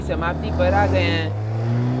इसी के साथ हम इस tutorial की समाप्ति पर आ गए हैं